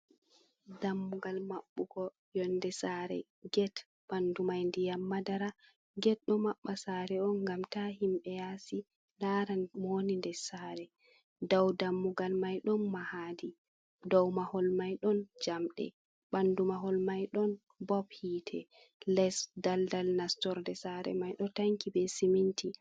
Dammugal mabɓutugo yonde sare get, ɓandu mai ndiyam madara, get ɗo maɓɓa sare on ngam ta himɓe yasi lara mowoni nder sare, dow dammugal mai ɗon mahadi, dow mahol mai ɗon jamɗe ɓandu mahol mai ɗon bob hite, les daldal nastorde sare mai ɗo tanki be siminti.